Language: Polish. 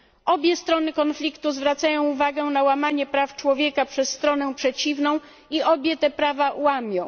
Obie strony konfliktu zwracają uwagę na łamanie praw człowieka przez stronę przeciwną i obie te prawa łamią.